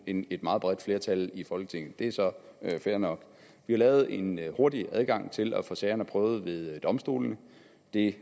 end et meget bredt flertal i folketinget det er så fair nok vi har lavet en hurtig adgang til at få sagerne prøvet ved domstolene det